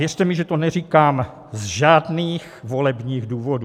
Věřte mi, že to neříkám ze žádných volebních důvodů.